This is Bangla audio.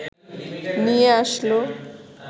নিয়ে আসলো